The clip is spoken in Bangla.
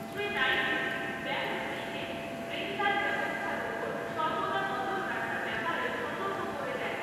শ্রী নাইডু, ব্যাঙ্কগুলিকে ঋনদান ব্যবস্থার ওপর সর্বদা নজর রাখার ব্যাপারেও সতর্ক করে দেন।